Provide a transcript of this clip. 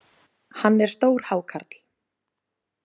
Hann er stór hákarl.